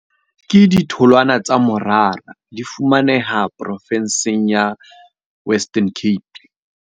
Ke ditholwana tsa morara, di fumaneha province-ng ya Western Cape.